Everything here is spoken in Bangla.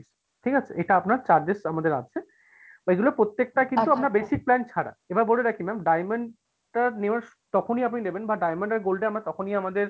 ঠিকাছে? এইটা আপনার charges আমাদের আছে এগুলার প্রত্যেকটা কিন্তু basic plan ছাড়া, এবার বলে রাখি ma'am diamond টা তখনই আপনি নিবেন বা diamond বা gold তখনই আমাদের,